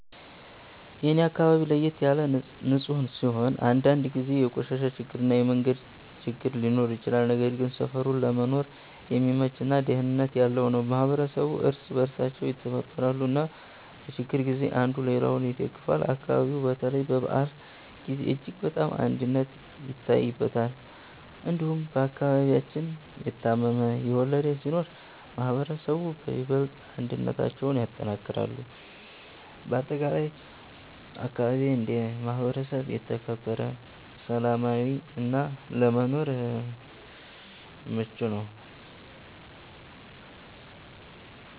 የኔ አካባቢ ለየት ያለ እና ንፁህ ሲሆን፣ አንዳንድ ጊዜ የቆሻሻ ችግር እና የመንገድ ችግር ሊኖር ይችላል። ነገር ግን ሰፈሩ ለመኖር የሚመች እና ደህንነት ያለው ነው። ማህበረሰቡ እርስ በእርሳቸው ይተባበራሉ እና በችግር ጊዜ አንዱ ሌላውን ይደግፋል። አካባቢው በተለይ በበዓላት ጊዜ እጅግ በጣም አንድነት ይታይበታል። እንዲሁም በአከባቢያችን የታመመ፣ የወለደ ሲኖር ማህበረሰቡ በይበልጥ አንድነታቸውን ያጠናክራሉ። በአጠቃላይ አካባቢዬ እንደ ማህበረሰብ የተባበረ፣ ሰላማዊ እና ለመኖር ምቹ ነው።